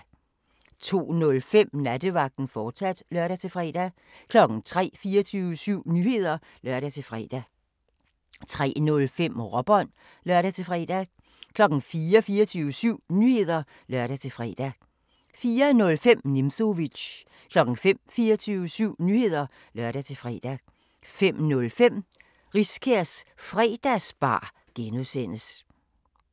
02:05: Nattevagten, fortsat (lør-fre) 03:00: 24syv Nyheder (lør-fre) 03:05: Råbånd (lør-fre) 04:00: 24syv Nyheder (lør-fre) 04:05: Nimzowitsch 05:00: 24syv Nyheder (lør-fre) 05:05: Riskærs Fredagsbar (G)